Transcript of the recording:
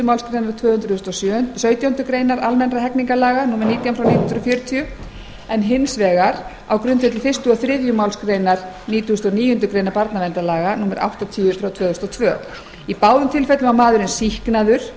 málsgrein tvö hundruð og sautjándu grein almennra hegningarlaga númer nítján nítján hundruð fjörutíu og hins vegar á grundvelli fyrstu og þriðju málsgrein nítugasta og níundu grein barnaverndarlaga númer áttatíu tvö þúsund og tvö í báðum tilfellum var maðurinn sýknaður